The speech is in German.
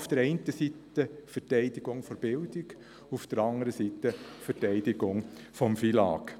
Auf der einen Seite Verteidigung der Bildung, auf der andern Seite Verteidigung des FILAG.